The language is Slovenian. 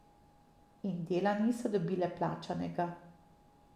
In dela niso dobile plačanega.